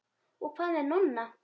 Og hvað með Nonna?